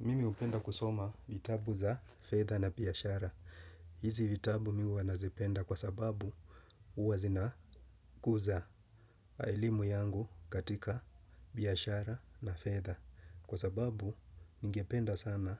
Mimi hupenda kusoma vitabu za fedha na biashara. Hizi vitabu mimi huwa nazipenda kwa sababu huwa zinakuza elimu yangu katika biashara na fedha. Kwa sababu ningependa sana